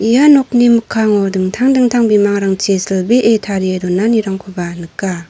ia nokni mikkango dingtang dingtang bimangrangchi silbee tarie donanirangkoba nika.